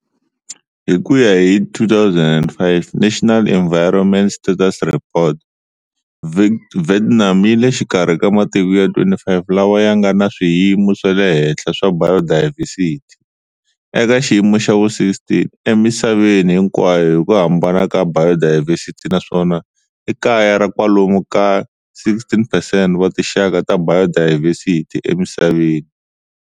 Hikuya hi 2005 National Environment Status Report, Vietnam yile xikarhi ka matiko ya 25 lawa yanga na swiyimo swale henhla swa biodiversity, eka xiyimo xa vu 16 emisaveni hinkwayo hiku hambana ka biodiversity naswona i kaya ra kwalomu ka 16 percent wa tinxaka ta biodiversity emisaveni.